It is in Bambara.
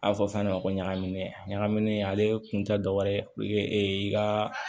A fɔ fɛn dɔ ma ko ɲagaminnen ɲagamin ale kun tɛ dɔ wɛrɛ ye e ka